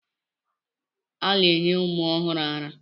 A na-enye ụmụ ọhụrụ árá.